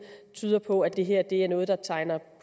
tyder på at det her er noget der tegner